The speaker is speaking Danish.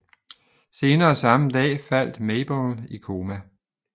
Senere samme dag faldt Maybelle i koma